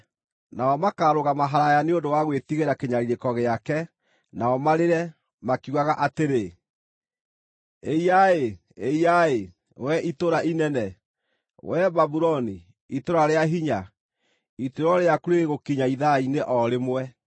Nao makaarũgama haraaya nĩ ũndũ wa gwĩtigĩra kĩnyariirĩko gĩake, nao marĩre, makiugaga atĩrĩ: “ ‘Ĩiya-ĩ! Ĩiya-ĩ, wee itũũra inene, wee Babuloni, itũũra rĩa hinya! Ituĩro rĩaku rĩrĩ gũkinya ithaa-inĩ o rĩmwe!’